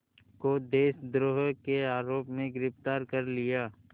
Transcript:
को देशद्रोह के आरोप में गिरफ़्तार कर लिया